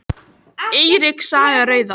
Eiríks saga rauða.